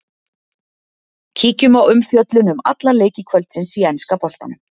Kíkjum á umfjöllun um alla leiki kvöldsins í enska boltanum.